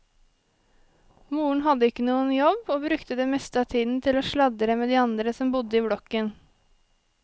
Moren hadde ikke noen jobb, og brukte det meste av tiden til å sladre med de andre som bodde i blokken.